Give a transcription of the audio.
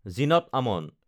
Zeenat Aman